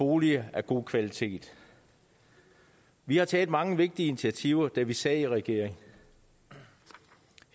boliger af god kvalitet vi har taget mange vigtige initiativer da vi sad i regering